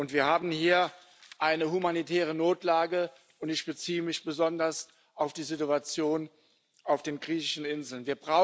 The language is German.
Wir haben hier eine humanitäre Notlage, und ich beziehe mich besonders auf die Situation auf den griechischen Inseln.